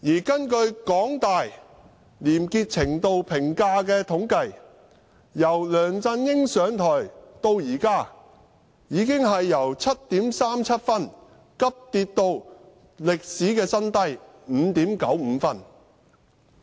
根據香港大學廉潔程度評價的統計，由梁振英上台到現在，已經由 7.37 分急跌至歷史新低的 5.95 分。